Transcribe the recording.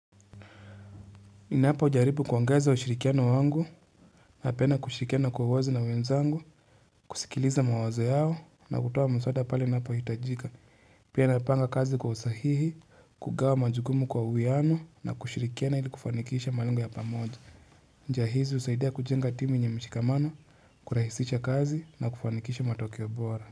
Inapo ujaribu kuangeza ushirikiano wangu na pena kushirikiano kwa uwezi na mwenzangu, kusikiliza mawaze yao na kutuwa msota pali inapo yutajika. Pena panga kazi kwa usahihi, kugawa majugumu kwa uweano na kushirikiano ili kufanikisha malingu ya pamoja. Njahizi usaidia kujenga timu nye mshikamano, kurahisisha kazi na kufanikisha matokiobora.